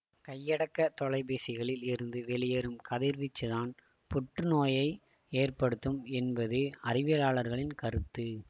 கையடக்க தொலைபேசிகளில் இருந்து வெளியேறும் கதிர்வீச்சு தான் புற்று நோய் நோயை ஏற்படுத்தும் என்பது அறிவியலாளர்களின் கருத்து